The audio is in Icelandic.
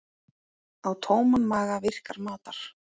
Á tóman maga virkar matar